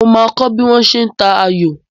Mo máa kọ bí wọ́n ṣe ń ta ayò.